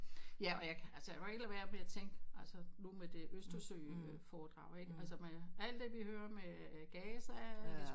Ja og jeg kan altså jeg kan jo ikke lade være med at tænke altså nu med det Østersø foredrag ikke altså alt det vi hører med Gaza